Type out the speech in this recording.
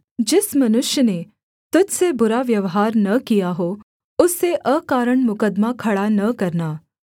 जिस मनुष्य ने तुझ से बुरा व्यवहार न किया हो उससे अकारण मुकद्दमा खड़ा न करना